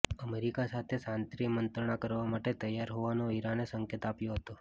America સાથે શાંતિમંત્રણા કરવા માટે તૈયાર હોવાનો ઈરાને સંકેત આપ્યો હતો